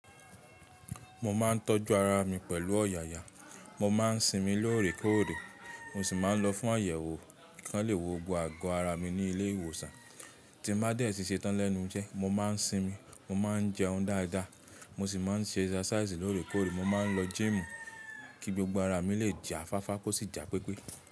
Mo ma n ńtọ̀ju ara mi pẹ̀lú ọ̀yàyà. Mo ma ń sinmi lóòrèkóòrè. Mo sì ma ń lọ fún àyẹ̀wò. Kàn léwo gbogbo ààgò ara mi ní ilé ìwòsàn. Ti n bá dẹ́ sí ṣe tán lẹ́nu ise, mo máa ń sinmi, mo máa ń jẹoún dáadáa. Mo sì ma ń ṣe ẹsáṣáìsì lóòrèkóòrè. Mo máa ń lọ jíìmù kí gbogbo ara mi lè jà fáfá, kó sì jà pípé.